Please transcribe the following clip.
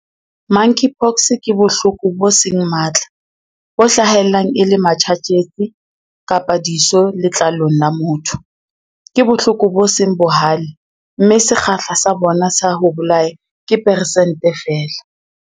Monkeypox ke bohloko bo seng matla, bo hlahellang e le matjhatjhetsi kapa diso letlalong la motho. Ke bohloko bo seng bohale mme sekgahla sa bona sa ho bolaya ke persente feela.